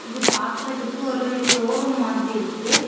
இது பாக்குறதுக்கு ஒரு ஷோரூம் மாதிரி இருக்கு.